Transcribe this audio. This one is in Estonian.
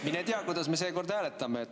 Mine tea, kuidas me seekord hääletame.